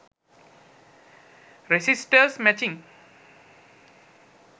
resisters matching